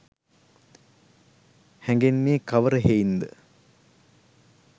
හැඟෙන්නේ කවර හෙයින්ද?